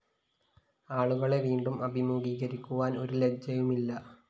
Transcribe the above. ആളുകളെ വീണ്ടും അഭിമുഖീകരിക്കുവാന്‍ ഒരു ലജ്ജയുമില്ല